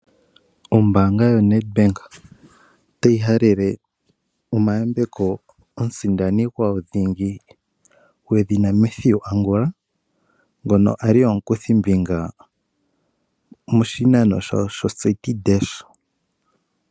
Ombaanga yoNedBank otayi halele omayambeko omusindani gwawo dhingi gwedhina Mathew Angula ngono ali omukuthimbinga moshinano sho Citi Dash.